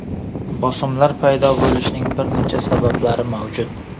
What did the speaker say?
Bosimlar paydo bo‘lishining bir necha sabablari mavjud.